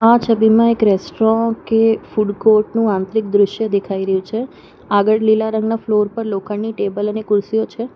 આ છબીમાં એક રેસ્ટોરાં કે ફૂડ કોર્ટ નું આંતરિક દ્રશ્ય દેખાઈ રહ્યું છે આગળ લીલા રંગના ફ્લોર પર લોખંડની ટેબલ અને ખુરશીઓ છે.